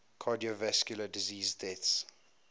cardiovascular disease deaths